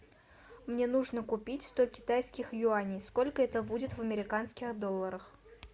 мне нужно купить сто китайских юаней сколько это будет в американских долларах